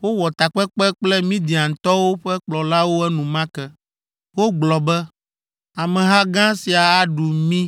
Wowɔ takpekpe kple Midiantɔwo ƒe kplɔlawo enumake. Wogblɔ be, “Ameha gã sia aɖu mí